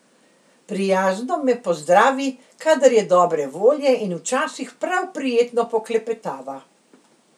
Prijazno me pozdravi, kadar je dobre volje in včasih prav prijetno poklepetava.